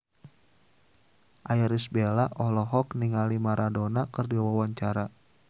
Irish Bella olohok ningali Maradona keur diwawancara